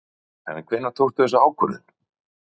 Fréttamaður: En hvenær tókstu þessa ákvörðun?